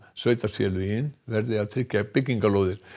sveitarfélögin verði að tryggja byggingarlóðir